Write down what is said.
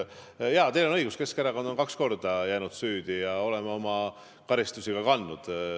Jaa, teil on õigus, Keskerakond on kaks korda jäänud süüdi ja me oleme ka karistust kandnud.